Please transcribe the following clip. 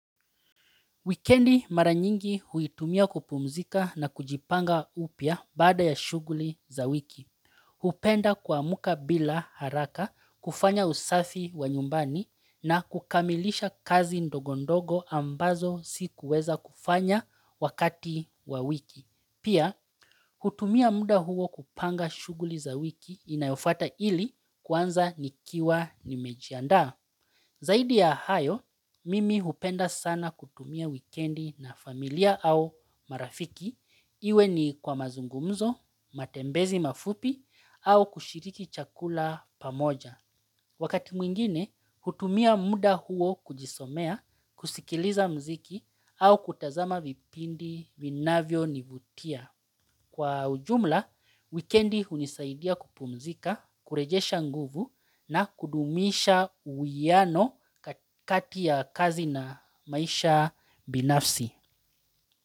Wikendi mara nyingi huitumia kupumzika na kujipanga upia baada ya shughuli za wiki. Hupenda kuamuka bila haraka kufanya usafi wa nyumbani na kukamilisha kazi ndogondogo ambazo sikuweza kufanya wakati wa wiki. Pia, hutumia muda huo kupanga shughuli za wiki inayofata ili kwanza nikiwa nimejiandaa. Zaidi ya hayo, mimi hupenda sana kutumia wikendi na familia au marafiki. Iwe ni kwa mazungumzo, matembezi mafupi, au kushiriki chakula pamoja. Wakati mwingine, hutumia muda huo kujisomea, kusikiliza mziki, au kutazama vipindi vinavyo nivutia. Kwa ujumla, wikendi hunisaidia kupumzika, kurejesha nguvu na kudumisha uwiano kati ya kazi na maisha binafsi.